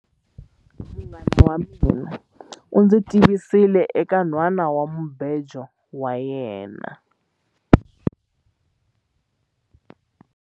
Munghana wa mina u ndzi tivisile eka nhwanamubejo wa yena.